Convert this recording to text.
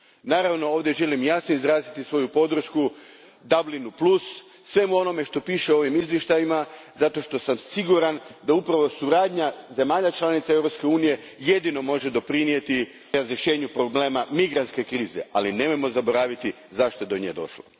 Naravno, ovdje želim jasno izraziti svoju podršku Dublinu plus, svemu onome što piše u ovim izvještajima zato što sam siguran da upravo suradnja zemalja članica Europske unije jedino može doprinijeti rješenju problema migrantske krize, ali nemojmo zaboraviti zašto je do nje došlo.